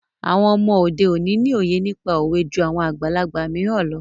Àwọn ọmọ òde òní ni òye nípa òwe jú àwọn àgbàlagbà mìíràn lọ.